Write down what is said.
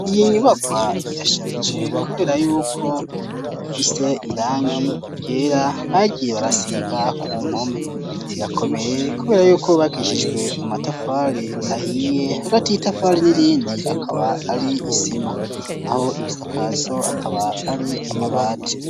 Iyo nyubakwa irasharije kubera yuko ifise irangi ryera bagiye barasiga ku mpome irakomeye kubera yuko yubakijijwe amatafali ahiye hagati y'itafari n'irindi akaba ari isima naho ibisakazo akaba ari amabati.